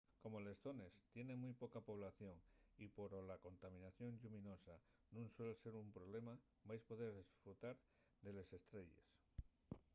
como les zones tienen mui poca población y poro la contaminación lluminosa nun suel ser un problema vais poder esfrutar de les estrelles